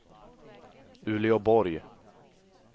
Uleåborg